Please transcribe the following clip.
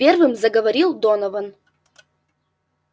первым заговорил донован